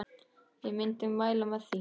Ég myndi mæla með því.